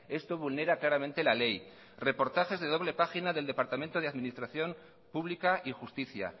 esto vulnera claramente la ley reportajes de doble página del departamento de administración pública y justicia